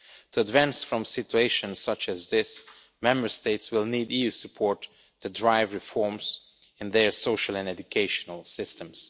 To advance from situations such as this, Member States will need EU support to drive reforms in their social and education systems.